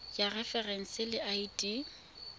ya referense le id ya